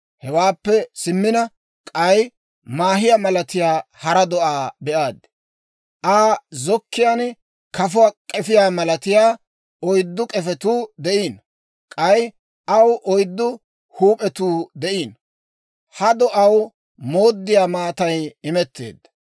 «Hewaappe simmina k'ay, maahiyaa malatiyaa hara do'aa be'aad. Aa zokkiyaan kafuwaa k'efiyaa malatiyaa oyddu k'efetuu de'iino. K'ay aw oyddu huup'etuu de'iino. Ha do'aw mooddiyaa maatay imetteedda.